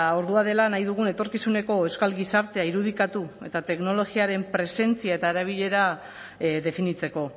ordua dela nahi dugun etorkizuneko euskal gizartea irudikatu eta teknologiaren presentzia eta erabilera definitzeko